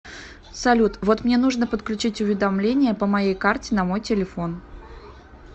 салют вот мне нужно подключить уведомления по моей карте на мой телефон